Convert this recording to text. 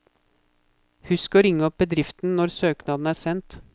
Husk å ringe opp bedriften når søknaden er sendt.